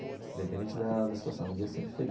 Independente da da situação dia sempre